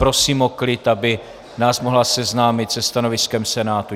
Prosím o klid, aby nás mohla seznámit se stanoviskem Senátu.